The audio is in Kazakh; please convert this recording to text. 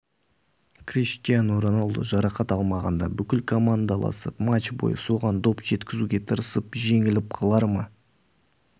криштиану роналду жарақат алмағанда бүкіл командаласы матч бойы соған доп жеткізуге тырысып жеңіліп қалар ма